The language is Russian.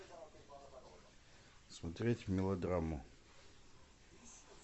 смотреть мелодраму